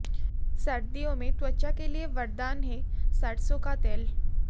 सर्दियों में त्वचा के लिए वरदान है सरसों का तेल